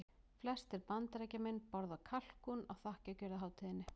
Flestir Bandaríkjamenn borða kalkún á þakkargjörðarhátíðinni.